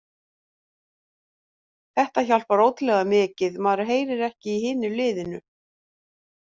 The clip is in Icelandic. Þetta hjálpar ótrúlega mikið, maður heyrir ekki í hinu liðinu.